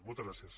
moltes gràcies